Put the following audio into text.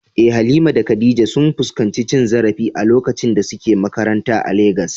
Eh, Halima da Khadija sun fuskanci cin zarafi a lokacin da suke makaranta a Legas.